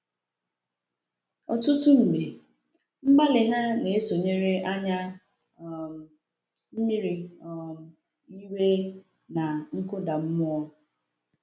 Ọtụtụ mgbe, mgbalị ha na-esonyere anya um mmiri, um iwe, na nkụda mmụọ.